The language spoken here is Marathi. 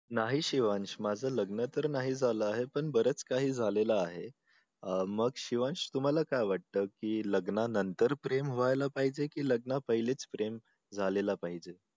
नाही शिवांश माझं लग्न तर नाही झालं आहे पण बरच काही झालेलं आहे अं मग शिवांश तुम्हाला काय वाटत की लग्नानंतर प्रेम व्हायला पाहिजे की लग्ना पहीलेच प्रेम झालेलं पाहिजे